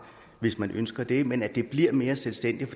hvis man ønsker det men at det bliver mere selvstændigt